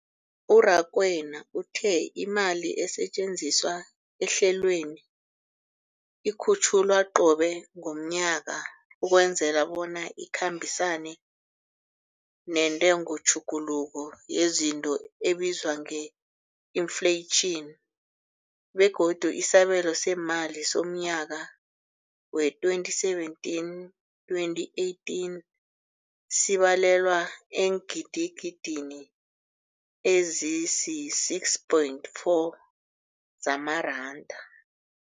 U-Rakwena uthe imali esetjenziswa ehlelweneli ikhutjhulwa qobe ngomnyaka ukwenzela bona ikhambisane nentengotjhuguluko yezinto ebizwa nge-infleyitjhini, begodu isabelo seemali somnyaka we-2017, 2018 sibalelwa eengidigidini ezisi-6.4 zamaranda.